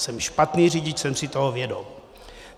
Jsem špatný řidič, jsem si toho vědom.